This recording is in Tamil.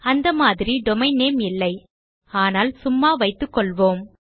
அந்த மாதிரி டொமெயின் நேம் இல்லை ஆனால் சும்மா வைத்துக்கொள்வோம்